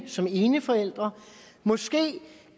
som eneforælder måske